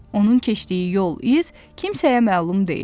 Onun keçdiyi yol, iz kimsəyə məlum deyil.